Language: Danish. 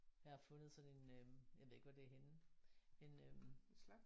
Jeg har fundet sådan en øh jeg ved ikke hvor det er henne en øh